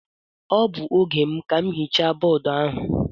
Ọ bụ oge m ka m hichaa bọọdụ ahụ.